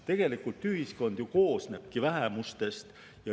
Tegelikult ühiskond koosnebki vähemustest.